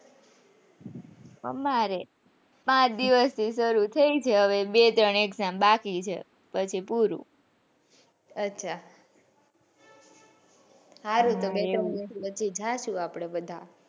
અમારે પાંચ દિવસથી સારું થયી છે હવે બે તન exam બાકી છે પછી પૂરું અચ્છા હારું તો પછી જાસુ આપણે બધા,